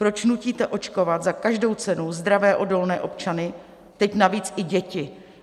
Proč nutíte očkovat za každou cenu zdravé odolné občany, teď navíc i děti?